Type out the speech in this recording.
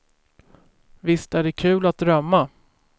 Visst är det kul att drömma.